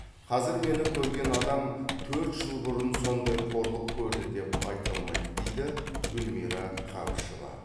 қазір мені көрген адам төрт жыл бұрын сондай қорлық көрді деп айта алмайды дейді гүльмира қабышева